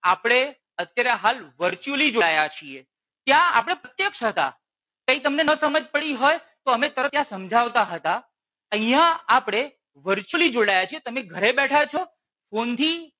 આપણે અત્યારે હાલ virtually જોડાયા છીએ ત્યાં આપણે પ્રત્યક્ષ હતા. ત્યાં તમને ના સમાજ પડી હોય તો અમે તરત ત્યાં સમજાવતા હતા. અહિયાં આપણે virtually જોડાયા છીએ. તમે ઘરે બેઠા છો ફોન થી.